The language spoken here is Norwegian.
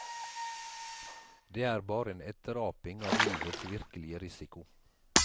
Det er bare en etteraping av livets virkelige risiko.